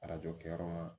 Arajo kɛyɔrɔ ma